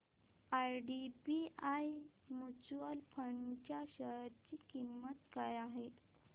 IDBI mutual fund च्या share ची किंमत काय आहे